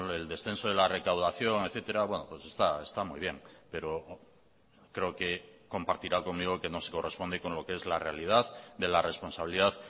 el descenso de la recaudación etcétera pues está muy bien pero creo que compartirá conmigo que no se corresponde con lo que es la realidad de la responsabilidad